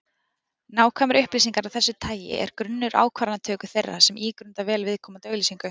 Nákvæmar upplýsingar af þessu tagi er grunnur ákvarðanatöku þeirra sem ígrunda vel viðkomandi auglýsingu.